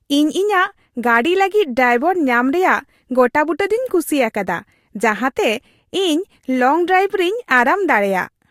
ᱤᱧ ᱤᱧᱟᱹᱜ ᱜᱟᱹᱰᱤ ᱞᱟᱹᱜᱤᱫ ᱰᱟᱭᱵᱚᱨ ᱧᱟᱢ ᱨᱮᱭᱟᱜ ᱜᱚᱴᱟᱵᱩᱴᱟᱹ ᱫᱩᱧ ᱠᱩᱥᱤ ᱟᱠᱟᱫᱟ ᱡᱟᱦᱟᱸᱛᱮ ᱤᱧ ᱞᱚᱝ ᱰᱨᱟᱭᱤᱵᱷ ᱨᱮᱧ ᱟᱨᱟᱢ ᱫᱟᱲᱮᱭᱟᱜ ᱾